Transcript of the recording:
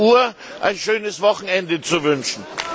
17.00 Uhr ein schönes Wochenende zu wünschen.